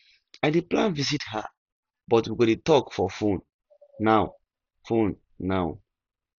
i dey plan visit her but we go dey talk for fone now fone now